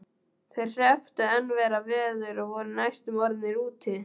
Þeir hrepptu enn verra veður og voru næstum orðnir úti.